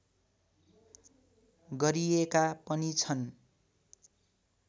गरिएका पनि छन्